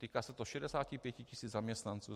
Týká se to 65 tisíc zaměstnanců.